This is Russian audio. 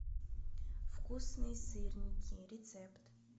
вкусные сырники рецепт